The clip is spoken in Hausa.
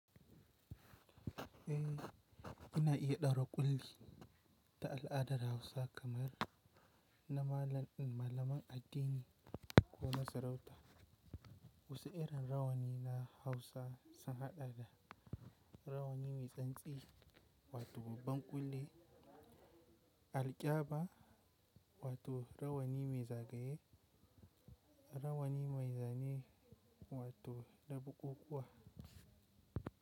Eh, ina iya daro ƙulli ta al'adar Hausa kamar na malam- malaman addini ko na sarauta. Wata irin rawani na Hausa sun haɗa da rawani mai tsantsi wato babban ƙulli, alƙyaba wato rawani mai zagaye, rawani mai zane wato dabuƙkuƙƙuwa.